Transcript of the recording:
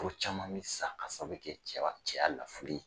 Furu caman bɛ sa ka sababu bɛ kɛ cɛ cɛya lafuli ye.